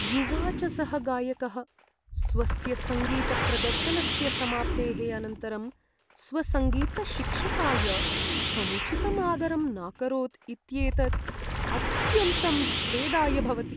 युवा च सः गायकः स्वस्य सङ्गीतप्रदर्शनस्य समाप्तेः अनन्तरं स्वसङ्गीतशिक्षकाय समुचितं आदरं नाकरोत् इत्येतत् अत्यन्तं खेदाय भवति।